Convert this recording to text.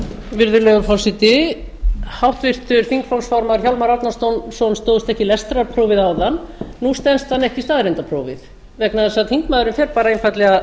virðulegi forseti háttvirtur þingflokksformaður hjálmar árnason stóðst ekki lestrarprófið áðan nú stenst hann ekki staðreyndaprófið vegna þess að þingmaðurinn fer einfaldlega